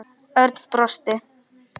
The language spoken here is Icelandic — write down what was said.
Örn brosti.